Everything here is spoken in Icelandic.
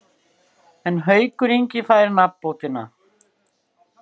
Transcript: En Haukur Ingi fær nafnbótina.